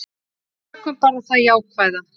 Við tökum bara það jákvæða.